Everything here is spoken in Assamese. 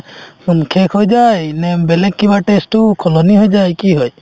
শেষ হৈ যায় নে বেলেগ কিবা test টো সলনি হৈ যায় কি হয়